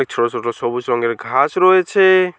ছোট ছোট সবুজ রঙের ঘাস রয়েছে।